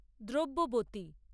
দ্রব্যবতী